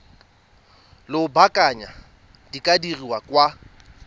lobakanyana di ka dirwa kwa